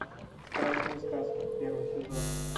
страшные сказки первый сезон